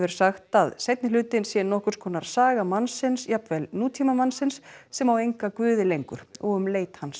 sagt að seinni hlutinn sé nokkurs konar saga mannsins jafnvel nútímamanns sem á enga guði lengur og um leit hans